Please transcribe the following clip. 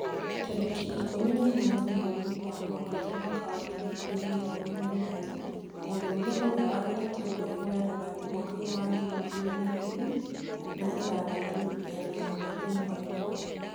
Tarĩki ikũmi na inyanya mweri wa mũgwanja mwaka wa ngiri igĩrĩ na ikũmi na inyanya mũndũrume ũrĩa wageretie kwĩhũra rithathi mwaka wa ngiri igĩrĩ na ikũmi na ithathatũ rĩu ena ũthiũ mwerũ